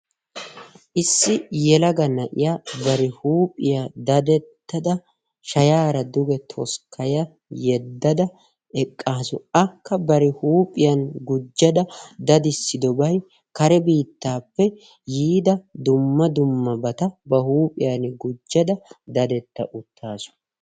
issi yelaga na'iya qassi doozata tokkidi dichchidi naagiyooge qassi daro go''a immees. dumma dumma bata bari huuphiyan gujjada uttaasu.